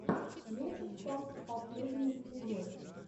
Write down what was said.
лесиксам последний эпизод